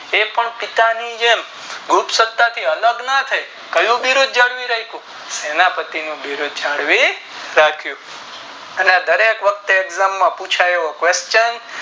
એક ઓર પિતા ની જેમ તુંરત સત્તા થી આલગ નો થાય કયું યુદ્ધ જાળવી રાખું સેનાએ પતિ નું યુદ્ધ જાળવી રાખું અને આ દરેખ વખત exam માં પુછાય એવો question